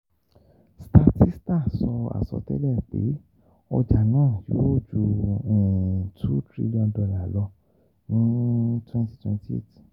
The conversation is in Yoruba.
Statista sọ àsọtẹ́lẹ̀ pé ọjà náà yóò ju cs] two trillion dollar lọ ní twenty twenty eight.